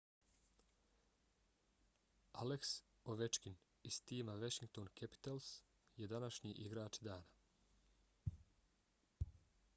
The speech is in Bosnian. alex ovechkin iz tima washington capitals je današnji igrač dana